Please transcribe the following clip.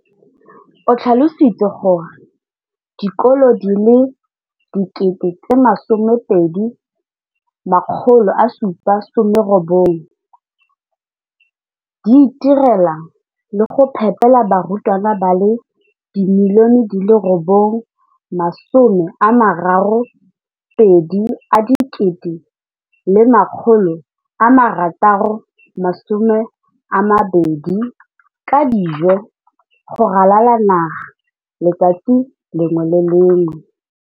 O tlhalositse gore dikolo di le 20 619 di itirela le go iphepela barutwana ba le 9 032 622 ka dijo go ralala naga letsatsi le lengwe le le lengwe.